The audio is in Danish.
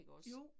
Jo